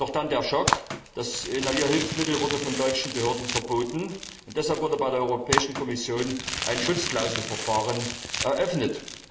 Doch dann der Schock Das Inhalierhilfsmittel wurde von deutschen Behörden verboten, und deshalb wurde bei der Europäischen Kommission ein Schutzklauselverfahren eröffnet.